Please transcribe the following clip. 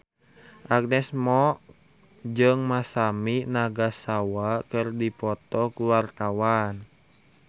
Agnes Mo jeung Masami Nagasawa keur dipoto ku wartawan